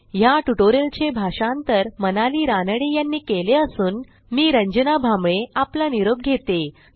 ह्या ट्युटोरियलचे भाषांतर मनाली रानडे यांनी केले असून मी रंजना भांबळे आपला निरोप घेते